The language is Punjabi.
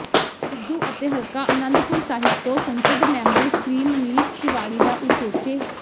ਸਿੱਧੂ ਅਤੇ ਹਲਕਾ ਆਨੰਦਪੁਰ ਸਾਹਿਬ ਤੋਂ ਸੰਸਦ ਮੈਂਬਰ ਸ੍ਰੀ ਮਨੀਸ਼ ਤਿਵਾੜੀ ਦਾ ਉਚੇਚੇ